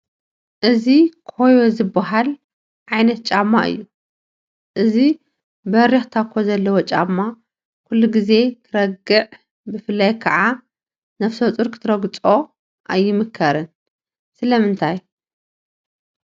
እዚ ኮዮ ዝበሃል ዓይነት ጫማ እዩ፡፡ እዚ በሪኽ ታኮ ዘለዎ ጫማ ኩሉ ግዜ ክርገዕ ብፍላይ ከዓ ነፍሰፁር ክትረግፆ ኣይምከርን፡፡ ስለምንታይ?